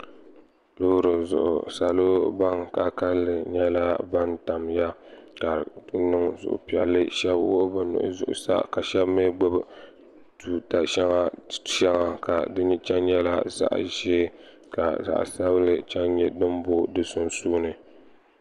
Loori zuɣu salo ban ka kalinli nyɛla ban tamya ka niŋ supiɛlli shab nyɛla ban wuhi bi nuhi zuɣusaa ka shab mii gbubi tuuta shɛŋa ka di nyɛla zaɣ' ʒiɛ ka zaɣ' sabinli booi di zunsuuni